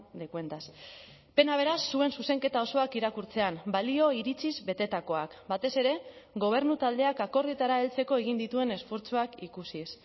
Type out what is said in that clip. de cuentas pena beraz zuen zuzenketa osoak irakurtzean balio iritziz betetakoak batez ere gobernu taldeak akordioetara heltzeko egin dituen esfortzuak ikusiz